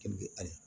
ali